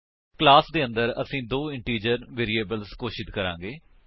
class ਦੇ ਅੰਦਰ ਅਸੀ ਦੋ ਇੰਟੀਜਰ ਵੇਰਿਏਬਲ ਘੋਸ਼ਿਤ ਕਰਾਂਗੇ